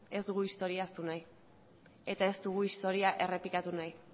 ez dugu historia ahaztu nahi eta ez dugu historia errepikatu nahi